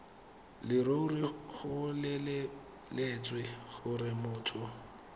leruri go lebeletswe gore motho